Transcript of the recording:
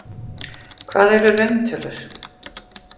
Hvað eru rauntölur?